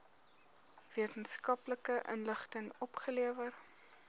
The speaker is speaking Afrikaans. wetenskaplike inligting opgelewer